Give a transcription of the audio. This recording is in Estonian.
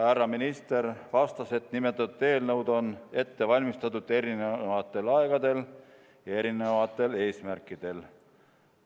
Härra minister vastas, et nimetatud eelnõud on ette valmistatud eri aegadel ja erinevatel eesmärkidel.